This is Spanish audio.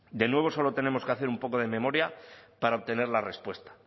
de nuevo solo tenemos que hacer un poco de memoria para obtener la respuesta